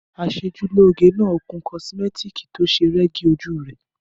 Aṣeojúlóge náà kun kosimẹtiki to se rẹ́gí ojú rẹ̀.